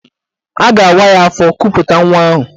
A ga-awa ya afọ kuputa nwa ahụ.